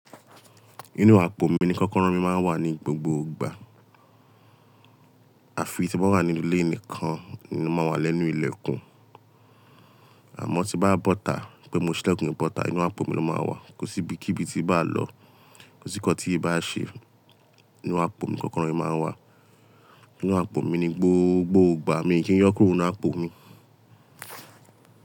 Inú àpò mi ni kọ́kọ́rọ́ mi máa ń wà ní gbogbo ìgbà. Àfi tí mo bá wà nínú ilé nìkan, ni mo máa wà lẹ́nu ilẹ̀kùn. Àmọ́ tí bá bọ́ta, pé mo ṣílẹ̀kùn mi bọ́ta, inú àpò mi ló máa wà. Kò sí ibi kíbi tí bá a lọ, kò sí nǹkan tí bá àṣe, inú àpò mi kọ́kọ́rọ́ mi máa ń wà. Inú àpò mi ni gbogbo ìgbà míì kí n yọ́ kúrò nínú àpò mi?